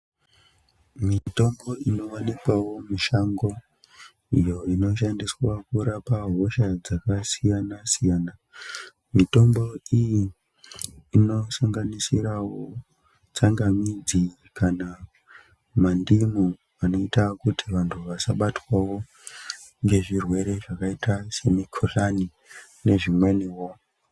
Mitombo inowanikwavo mushango iyo inoshandiswa kurape hosha dzakasiyana siyana. Mitombo iyi inosanganisira tsangamidzi kana mandimu anoita kuti vanhu vasabatwe ngemikuhlani nezvimweniwo.